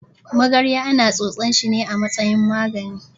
Magarya ana tsotsan shine a matsayin magani.